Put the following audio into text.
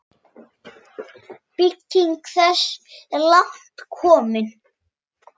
Slík eining er kölluð hlutur.